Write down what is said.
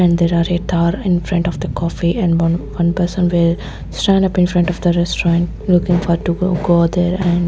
and there are a thar in front of the coffee and one one person will stand up in front of the restaurant looking for to go there and--